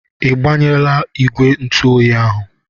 Ị gbanyela ìgwè ntụ oyi ahụ?